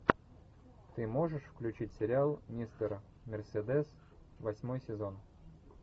ты можешь включить сериал мистер мерседес восьмой сезон